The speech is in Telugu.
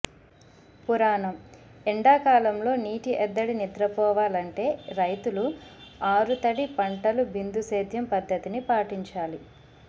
పురాణం ఎండాకాలంలో నీటి ఎద్దడి నిద్రపోవాలంటే రైతులు ఆరుతడి పంటలు బిందు సేద్యం పద్ధతిని పాటించాలి